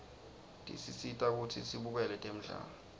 tisisita kutsi sibukele temdlalo